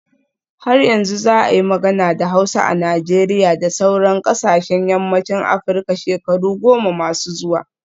Har yanzu za a yi magana da Hausa a Najeriya da sauran kasashen yammacin Afirka shekaru goma masu zuwa